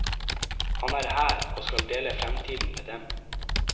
Han er her, og skal dele fremtiden med dem.